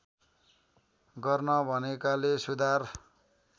गर्न भनेकाले सुधार